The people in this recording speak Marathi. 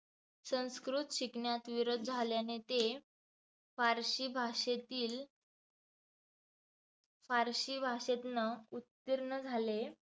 संस्कृत शिकण्यात विरोध झाल्याने ते फारसी भाषेतील फारसी भाषेतंन उत्तीर्ण झाले.